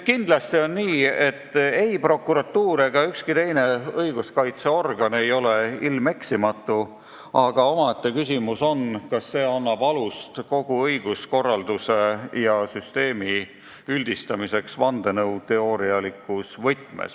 Kindlasti on nii, et ei prokuratuur ega ükski teine õiguskaitseorgan ei ole ilmeksimatu, aga omaette küsimus on, kas see annab alust teha kogu õiguskorralduse ja -süsteemi kohta üldistusi vandenõuteoorialikus võtmes.